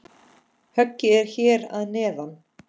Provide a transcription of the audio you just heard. Höggið er hér að neðan.